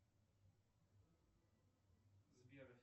сбер